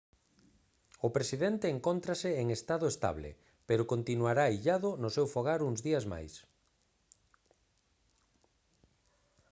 o presidente encóntrase en estado estable pero continuará illado no seu fogar uns días máis